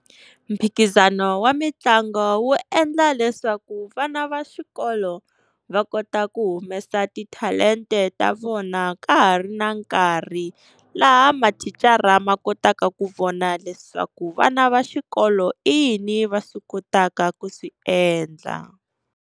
Mphikizano wa mitlangu wu endla leswaku vana va xikolo va kota ku humesa titalenta ta vona ka ha ri na nkarhi. Laha mathicara ma kotaka ku vona leswaku vana va xikolo i yini va swi kotaka ku swi endla.